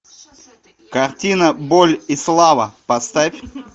картина боль и слава поставь